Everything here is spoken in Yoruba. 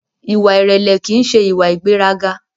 Ìwà ìrẹlẹ ki n ṣe ìwà ìgbéraga.